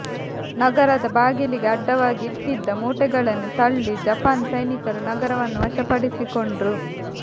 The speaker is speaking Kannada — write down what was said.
ನಗರದ ಬಾಗಿಲಿಗೆ ಅಡ್ಡವಾಗಿ ಇಟ್ಟಿದ್ದ ಮೂಟೆಗಳನ್ನು ತಳ್ಳಿ ಜಪಾನ್ ಸೈನಿಕರು ನಗರವನ್ನು ವಶಪಡಿಸಿಕೊಂಡ್ರು